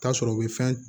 T'a sɔrɔ u bɛ fɛn